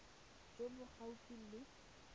jo bo gaufi le fa